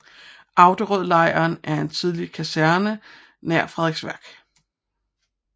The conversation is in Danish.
Auderødlejren er en tidligere kaserne nær Frederiksværk